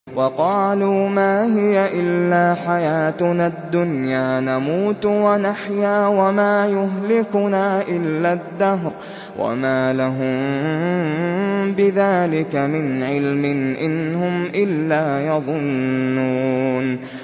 وَقَالُوا مَا هِيَ إِلَّا حَيَاتُنَا الدُّنْيَا نَمُوتُ وَنَحْيَا وَمَا يُهْلِكُنَا إِلَّا الدَّهْرُ ۚ وَمَا لَهُم بِذَٰلِكَ مِنْ عِلْمٍ ۖ إِنْ هُمْ إِلَّا يَظُنُّونَ